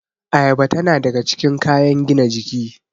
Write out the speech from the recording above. Ayaba tana daga cikin kayan gina jiki